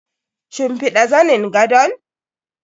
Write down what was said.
Shimfiɗa zanin gadon?